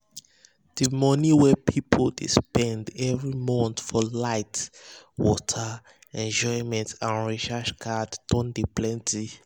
d money wey person dey spend every month for light water enjoyment and recharge card don de plenty